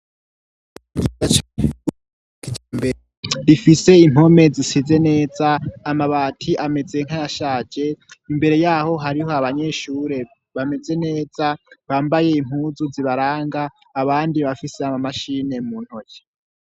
Idacakuaka ija mbere rifise impome zisize neza amabati ameze nkayashaje imbere yaho hariho abanyeshure bameze neza bambaye impuzu zibaranga abandi bafise amamashine mu ntoji.